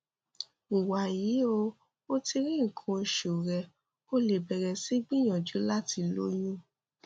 wàyí o o ti rí nǹkan oṣù rẹ o lè bẹrẹ sí gbìyànjú láti lóyún